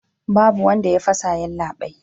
Babu wanda ya fasa yallabai